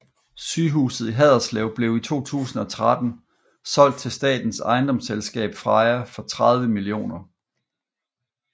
Sygehuset i Haderslev blev i 2013 solgt til statens ejendomsselskab Freja for 30 mill